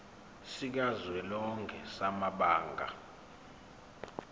sikazwelonke samabanga r